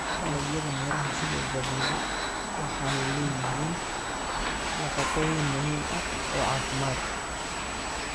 Dalagyada miraha sida zabibu waxay leeyihiin nafaqooyin muhiim ah oo caafimaad.